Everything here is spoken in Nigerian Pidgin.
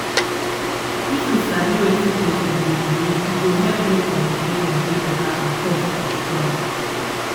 if you sabi wetin patient dey believe e go help make communication dey better and trust go strong